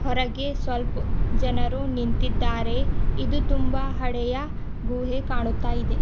ಹೊರಗೆ ಸ್ವಲ್ಪ್ ಜನರು ನಿಂತಿದ್ದಾರೆ ಇದು ತುಂಬಾ ಹಳೆಯ ಗುಹೆ ಕಾಣುತ್ತಾ ಇದೆ.